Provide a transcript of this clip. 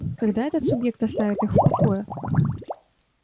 когда этот субъект оставит их в покое